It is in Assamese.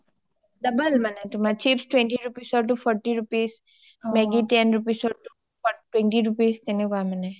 double মানে chips twenty rupees ৰ টো forty rupees maggie ten rupees ৰ টো twenty rupees তেনেকোৱা মানে